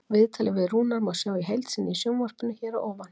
Viðtalið við Rúnar má sjá í heild sinni í sjónvarpinu hér að ofan.